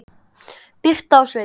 Birta og Sveinn.